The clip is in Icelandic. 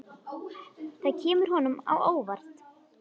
Það kemur honum á óvart.